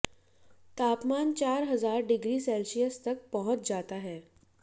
तापमान चार हजार डिग्री सेल्सियस तक पहुँच जाता है